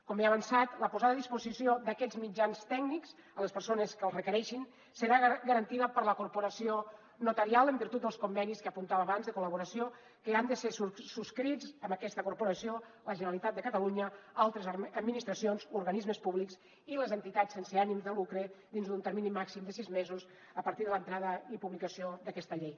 com he avançat la posada a disposició d’aquests mitjans tècnics a les persones que els requereixin serà garantida per la corporació notarial en virtut dels convenis que apuntava abans de col·laboració que han de ser subscrits amb aquesta corporació la generalitat de catalunya altres administracions organismes públics i les entitats sense ànim de lucre dins d’un termini màxim de sis mesos a partir de l’entrada i publicació d’aquesta llei